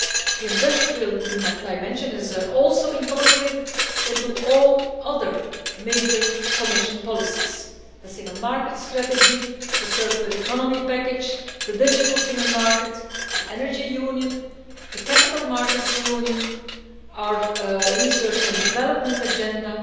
The industrial dimension is also incorporated into all other major Commission policies the Single Market Strategy, the Circular Economy package, the Digital Single Market, the Energy Union, the Capital Markets Union, our Research and Development agenda,